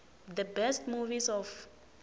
the best movies of